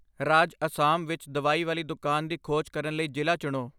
ਰਾਜ ਅਸਾਮ ਵਿੱਚ ਦਵਾਈ ਵਾਲੀ ਦੁਕਾਨ ਦੀ ਖੋਜ ਕਰਨ ਲਈ ਜ਼ਿਲ੍ਹਾ ਚੁਣੋ I